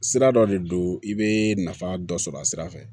Sira dɔ de don i bɛ nafa dɔ sɔrɔ a sira fɛ